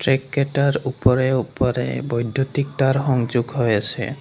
Track কেইটাৰ ওপৰে ওপৰে বৈদ্যুতিক তাঁৰ সংযোগ হৈ আছে।